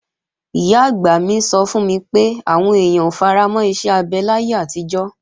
Ìyá-àgbà mi sọ fún mi pé, àwọn èèyàn ò faramọ́ iṣẹ́ abẹ láyé àtijọ́